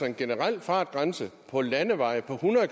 en generel fartgrænse på landeveje på hundrede